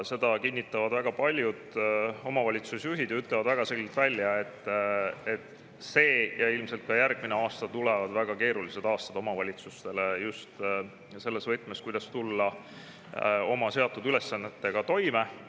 Seda kinnitavad väga paljud omavalitsusjuhid, kes on väga selgelt välja öelnud, et see ja ilmselt ka järgmine aasta tulevad omavalitsustele väga keerulised aastad just selles võtmes, kuidas neile seatud ülesannetega toime tulla.